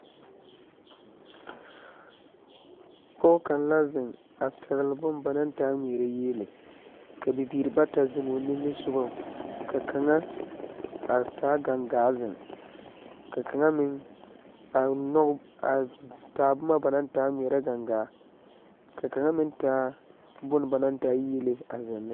Pɔge kaŋ la ziŋ a pɛŋli bon ba naŋ taa ŋmeɛrɛ yiele, ka bibiiri bata ziŋ o nimi sogɔŋ, ka kaŋa taa gaŋgaa ziŋ, ka kaŋa meŋ taa boma naŋ taa ŋmeɛrɛ, ka kaŋa meŋ taa bon ba naŋ taa yiele ziŋ ne.